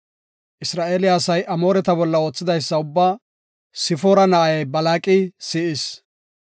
Isra7eele asay Amooreta bolla oothidaysa ubbaa Sifoora na7ay Balaaqi si7is.